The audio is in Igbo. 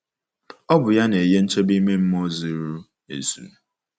Ọ bụ ya na-enye nchebe ime mmụọ zuru ezu.